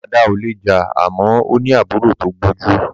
Dada ò lè jà àmọ́ ó ní àbúrò tó gbójú.